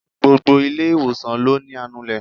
Gbogbo ilé ìwòsàn ló ní anulè.